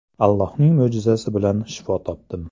Allohning mo‘jizasi bilan shifo topdim.